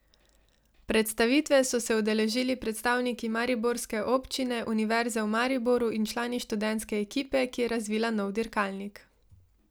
Predstavitve so se udeležili predstavniki mariborske občine, Univerze v Mariboru in člani študentske ekipe, ki je razvila nov dirkalnik.